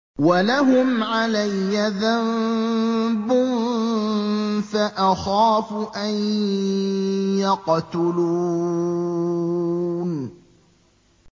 وَلَهُمْ عَلَيَّ ذَنبٌ فَأَخَافُ أَن يَقْتُلُونِ